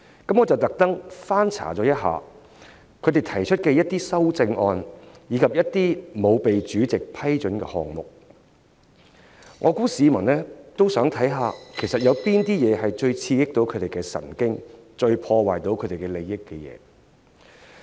我特意翻查他們提出的修正案，以及一些不獲主席批准提出的項目，我相信市民也想看看哪些項目最刺激他們的神經和最損害他們的利益。